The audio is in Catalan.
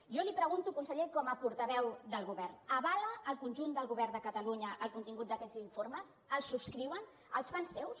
jo li pregunto conseller com a portaveu del govern avala el conjunt del govern de catalunya el contingut d’aquests informes els subscriuen els fan seus